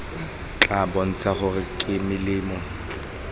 tla bontsha gore ke melemo